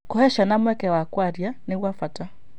Gũcihe ciana mweke wa kwaria nĩ gwa bata.